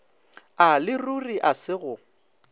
a leruri a se go